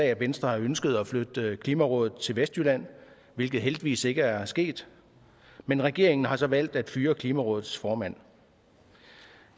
at venstre har ønsket at flytte klimarådet til vestjylland hvilket heldigvis ikke er sket men regeringen har så valgt at fyre klimarådets formand